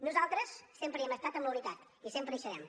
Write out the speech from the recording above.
nosaltres sempre hi hem estat en la unitat i sempre hi serem